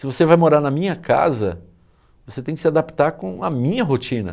Se você vai morar na minha casa, você tem que se adaptar com a minha rotina.